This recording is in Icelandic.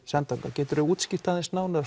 send þangað geturðu útskýrt nánar